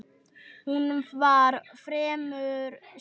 Hún var fremur stutt.